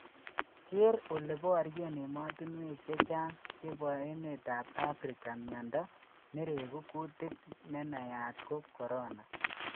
Ger oleboryen emotunwek chechang cheboemetab Africa miondo niregu kutik nenayat ko Corona